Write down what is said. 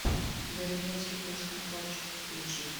берлинский фейсконтрольщик включи